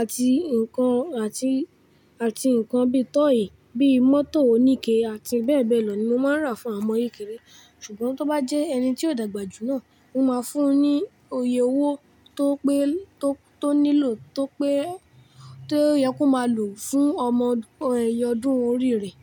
àti nǹkan àti, àti nǹkan bíi tọ́ọ̀yì, bíi mọ́tò oníke àti bẹ́ẹ̀ bẹ́ẹ̀ lọ ni mo máa ń rà fún àwọn ọmọ kékeré. Ṣùgbọ́n tó bá jẹ́ ẹni tí ó dàgbà jù náà, mo máa fún un ní òye owó tó pé, tó, tó nílò tó pé, tó yẹ kó máa lò fún ọmọ ìyè ọdún orí rẹ̀.